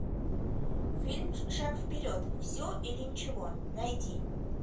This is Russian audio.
фильм шаг вперед все или ничего найди